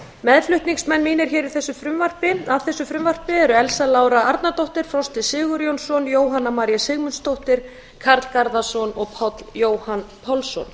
meðflutningsmenn mínir hér að þessu frumvarpi eru elsa lára arnardóttir frosti sigurjónsson jóhanna maría sigmundsdóttir karl garðarsson og páll jóhann pálsson